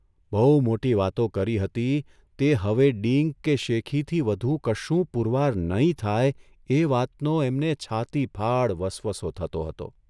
બહુ મોટી વાતો કરી હતી તે હવે ડીંગ કે શેખીથી વધુ કશું પૂરવાર નહીં થાય એ વાતનો એમને છાતીફાડ વસવસો થતો હતો.